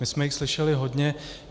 My jsme jich slyšeli hodně.